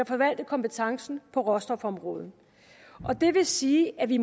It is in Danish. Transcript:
forvalte kompetencen på råstofområdet det vil sige at vi